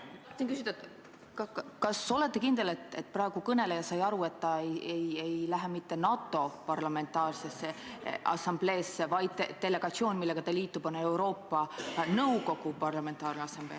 Tahtsin küsida, kas te olete kindel, et kõneleja on saanud aru, et ta ei lähe mitte NATO Parlamentaarsesse Assambleesse, vaid et delegatsioon, millega ta liitub, on Euroopa Nõukogu Parlamentaarne Assamblee.